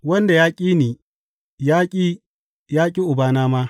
Wanda ya ƙi ni ya ƙi ya ƙi Ubana ma.